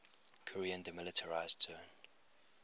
korean demilitarized zone